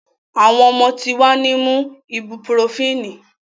Awọn omo ti wa ni mu ibupurofínì